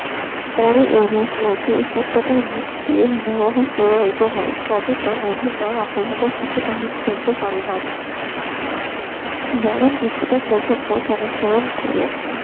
পরে এইরূপ নদী উপত্যকার মধ্যে দিয়ে হিমবাহ প্রবাহিত হয় ফলে তা নদীর ন্যায় আঁকাবাঁকা পথ তেমন চলতে পারেনা বরং কিছুটা সোজা পথ অনুসরণ করে